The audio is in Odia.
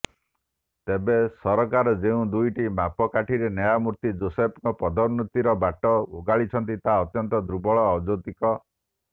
ତେବେ ସରକାର ଯେଉଁ ଦୁଇଟି ମାପକାଠିରେ ନ୍ୟାୟମୂର୍ତ୍ତି ଯୋଶେଫଙ୍କ ପଦୋନ୍ନତିର ବାଟ ଓଗାଳିିଛନ୍ତି ତାହା ଅତ୍ୟନ୍ତ ଦୁର୍ବଳ ଅଯୌକ୍ତିକ